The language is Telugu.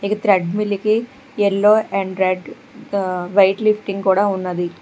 ఈ thread milky yellow red white lifting కూడా ఉన్నది.